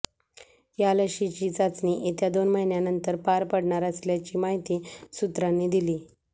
या लशीची चाचणी येत्या दोन महिन्यानंतर पार पडणार असल्याची माहिती सूत्रांनी दिली